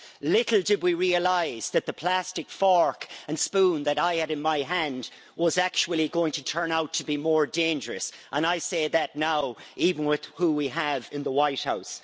Little did we realise that the plastic fork and spoon that I had in my hand was actually going to turn out to be more dangerous and I say that now, even with who we have in the White House.